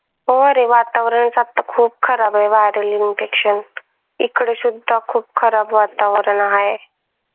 हो रे वातावरणच आता खूप खराब आहे viral infection इकडे सुद्धा खूप खराब वातावरण हाय.